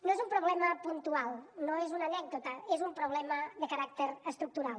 no és un problema puntual no és una anècdota és un problema de caràcter estructural